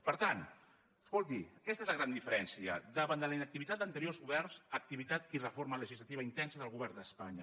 per tant escolti aquesta és la gran diferència davant de la inactivitat d’anteriors governs activitat i reforma legislativa intensa del govern d’espanya